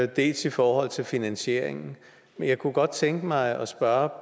dels i forhold til finansieringen jeg kunne godt tænke mig at spørge